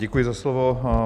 Děkuji za slovo.